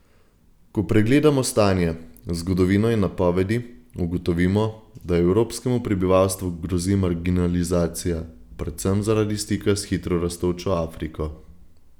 Ko pregledamo stanje, zgodovino in napovedi, ugotovimo, da evropskemu prebivalstvu grozi marginalizacija, predvsem zaradi stika s hitro rastočo Afriko.